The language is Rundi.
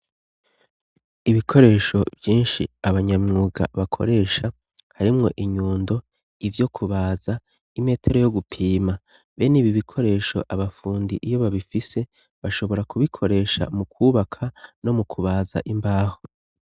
Ibikoresho vyinshi abanyamwuga bakoresha harimwo: inyundo, ivyo kubaza, imetero yo gupima. Bene ibi bikoresho abafundi iyo babifise, bashobora kubikoresha mu kubaka no mu kubaza imbaho.